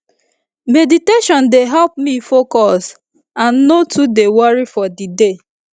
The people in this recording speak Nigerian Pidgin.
meditation dey help me focus and no too dey worry for the day